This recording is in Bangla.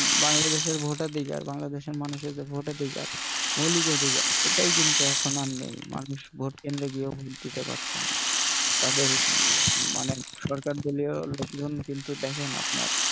বাংলাদেশের ভোটাধিকার বাংলাদেশের মানুষের যে ভোটাধিকার মৌলিক ওদিকে সেটাই কিন্তু এখন আর নেই মানুষ ভোটকেন্দ্রে গিয়েও ভোট দিতে পারছে না তাদের মানে সরকার দলীয় লোকজন কিন্তু দেখেন আপনার,